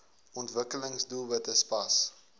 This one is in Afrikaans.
ontwikkelings doelwitte spas